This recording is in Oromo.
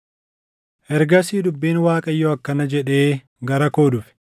Ergasii dubbiin Waaqayyoo akkana jedhee gara koo dhufe: